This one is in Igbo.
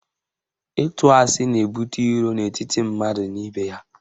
Ịtụ asị na-ebute iro n'etiti mmadụ na ibe ya.